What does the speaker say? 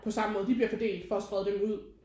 På samme måde de bliver fordelt for at sprede dem ud